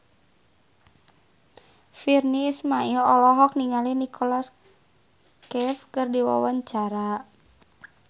Virnie Ismail olohok ningali Nicholas Cafe keur diwawancara